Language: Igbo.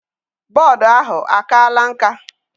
Board ahụ akala nka?